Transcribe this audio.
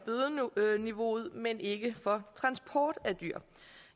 bødeniveauet men ikke for transport af dyr